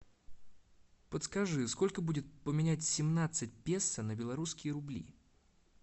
подскажи сколько будет поменять семнадцать песо на белорусские рубли